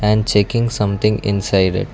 And checking something inside it.